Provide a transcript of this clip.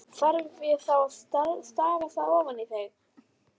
Þarf ég þá að stafa það ofan í þig?